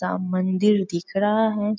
ता मंदिर दिख रहा है।